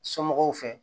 Somɔgɔw fɛ